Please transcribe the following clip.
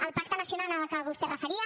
el pacte nacional al que vostè es referia